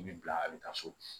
I bi bila a bi taa so